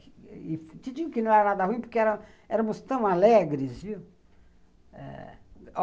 Te digo que não era nada ruim porque éramos éramos tão alegres, viu?